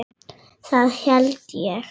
Það held ég